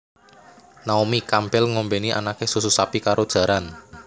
Naomi Campbell ngombeni anake susu sapi karo jaran